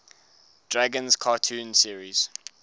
dragons cartoon series